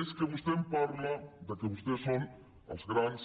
és que vostè em parla que vostès són els grans